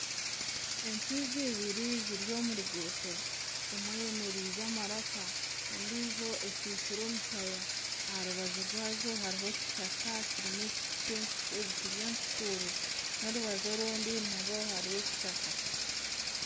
Entwinga eibiri ziri omu ruguuto emwe eyemerize amaraka endiijo ekyikyire omushaya aha rubaju rwaazo hariho ekishaka kirimu ebiti byekukuuro n'orubaju orundi nayo hariyo ekishaka.